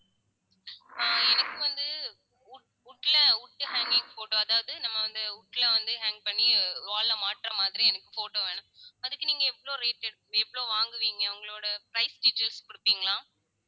அஹ் எனக்கு வந்து wood wood ல wood ல தனி photo அதாவது நம்ம வந்து wood ல வந்து hang பண்ணி wall ல மாட்டுற மாதிரி எனக்கு photo வேணும். அதுக்கு நீங்க எவ்ளோ rate எவ்ளோ வாங்குவீங்க உங்களோட price features குடுப்பீங்களா